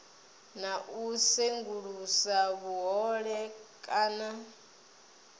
na u sengulusa vhuhole kana